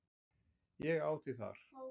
Ég á þig þar.